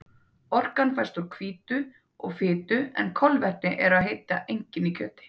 Orkan fæst úr hvítu og fitu en kolvetni eru að heita engin í kjöti.